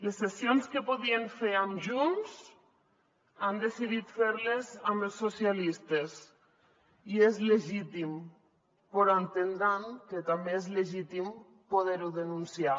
les cessions que podien fer amb junts han decidit fer les amb els socialistes i és legítim però deuen entendre que també és legítim poder ho denunciar